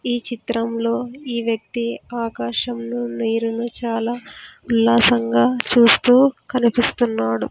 ఈ చిత్రంలో ఈ వ్యక్తి ఆకాశంలో నీరును చాలా ఉల్లాసంగా చూస్తూ కనిపిస్తున్నాడు.